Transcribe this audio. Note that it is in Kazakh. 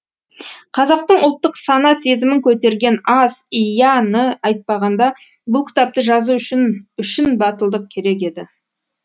қазақтың ұлттық сана сезімін көтерген аз и я ны айтпағанда бұл кітапты жазу үшін үшін батылдық керек еді